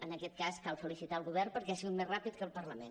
en aquest cas cal felicitar el govern perquè ha sigut més ràpid que el parlament